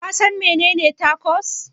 Kasan menene Tacos?